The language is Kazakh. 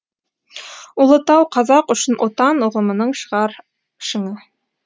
ұлытау қазақ үшін отан ұғымының шығар шыңы